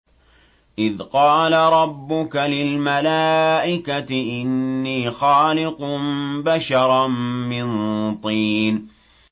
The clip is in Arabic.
إِذْ قَالَ رَبُّكَ لِلْمَلَائِكَةِ إِنِّي خَالِقٌ بَشَرًا مِّن طِينٍ